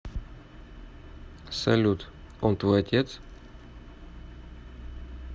салют он твой отец